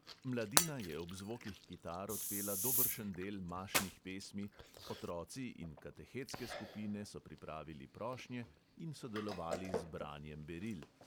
Mladina je ob zvokih kitar odpela dobršen del mašnih pesmi, otroci in katehetske skupine so pripravili prošnje in sodelovali z branjem beril.